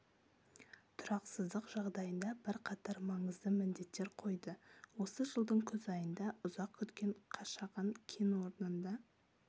тұрақсыздық жағдайында бірқатар маңызды міндеттер қойды осы жылдың күз айында ұзақ күткен қашаған кен орнында